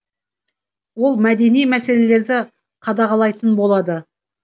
ол мәдени мәселелерді қадағалайтын болады